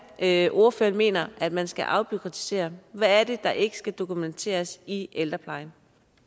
er at ordføreren mener at man skal afbureaukratisere hvad er det der ikke skal dokumenteres i ældreplejen